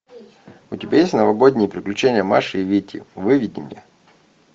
у тебя есть новогодние приключения маши и вити выведи мне